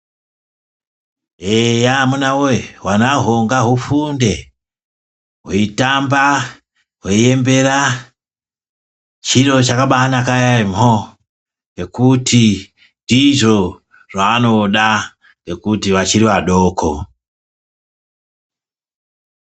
Eya amuna woye hwanahwo ngahufunde hweitamba hweiembera chiro chakabainaka yaamho ngekuti ndizvo zvaanoda ngekuti vachiri vadoko.